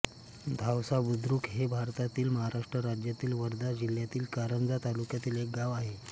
धावसाबुद्रुक हे भारतातील महाराष्ट्र राज्यातील वर्धा जिल्ह्यातील कारंजा तालुक्यातील एक गाव आहे